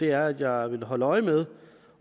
er at jeg vil holde øje med